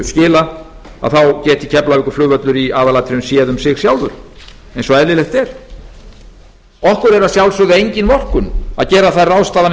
skila þá geti keflavíkurflugvöllur í aðalatriðum séð um sig sjálfur eins og eðlilegt er okkur er að sjálfsögðu engin vorkunn að gera þær ráðstafanir